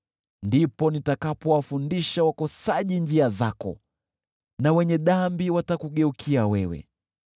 Ndipo nitakapowafundisha wakosaji njia zako, na wenye dhambi watakugeukia wewe.